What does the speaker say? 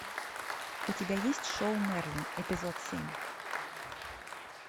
у тебя есть шоу мерлин эпизод семь